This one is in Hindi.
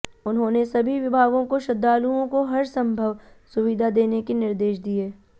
उन्होंने सभी विभागों को श्रद्धालुओं को हरसंभव सुविधा देने के निर्देश दिए